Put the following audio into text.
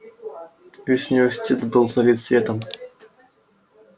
весь университет был залит светом